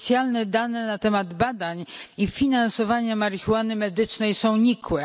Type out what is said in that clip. Oficjalne dane na temat badań i finansowania marihuany medycznej są nikłe.